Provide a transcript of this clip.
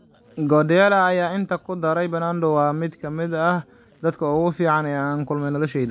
Guardiola ayaa intaa ku daray: "Bernardo waa mid ka mid ah dadka ugu fiican ee aan la kulmay noloshayda."